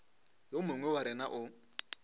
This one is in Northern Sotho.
yo mongwe wa rena o